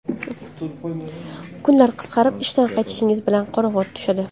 Kunlar qisqarib, ishdan qaytishingiz bilan qorong‘i tushadi.